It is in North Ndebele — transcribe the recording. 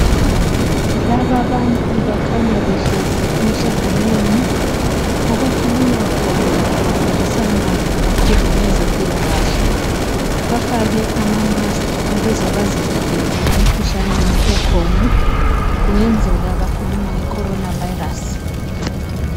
Lababantu bakhanya behlezi emhlanganweni okukhulunywa khona kufundiswana kakhulu ngezempilakahle. Bafake ama mask kungenzeka bakhuluma nge coronavirus.